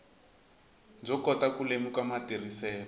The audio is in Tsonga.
byo kota ku lemuka matirhiselo